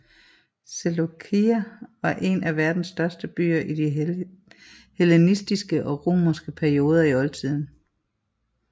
Seleukeia var en af verdens største byer i de hellenistiske og romerske perioder i oldtiden